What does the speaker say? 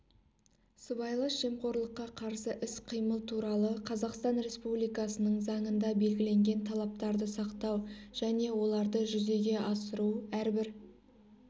сыбайлас жемқорлыққа қарсы іс-қимыл туралы қазақстан республикасының заңында белгіленген талаптарды сақтау және оларды жүзеге асыру әрбір